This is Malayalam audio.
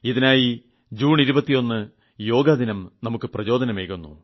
ഇതിനായി ജൂൺ 21 യോഗ ദിനം നമുക്ക് പ്രചോദനം ഏകുന്നു